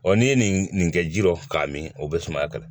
n'i ye nin nin kɛ ji dɔn k'a min o bɛ sumaya kala